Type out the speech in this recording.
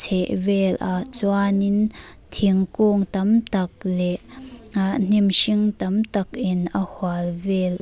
chhevel ah chuanin thingkung tam tak leh hna hnim hring tam tak in a hual vel.